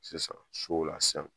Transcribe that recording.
Sisan sow la san